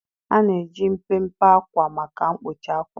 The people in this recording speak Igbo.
A na-eji mpempe ákwà maka mkpuchi àkwà.